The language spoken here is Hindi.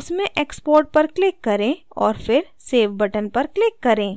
उसमें export पर click करें और फिर save button पर click करें